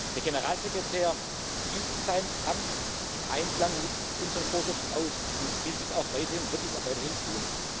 ist. Der Generalsekretär übt sein Amt im Einklang mit unseren Vorschriften aus und will dies und wird dies auch weiterhin